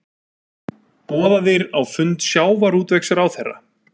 Boðaðir á fund sjávarútvegsráðherra